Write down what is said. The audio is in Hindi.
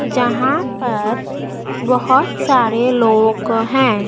यहां पर बहुत सारे लोग हैं।